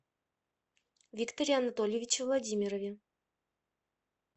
викторе анатольевиче владимирове